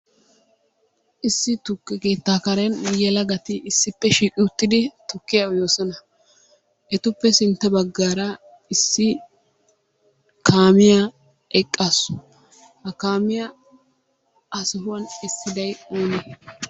Issi tukke keettaa Karen yelagati issippe shiiqi uttidi tukkiya uyoosona. Etuppe sintta baggaara issi kaamiya eqqaasu. Ha kaamiya ha sohuwan essiday onee?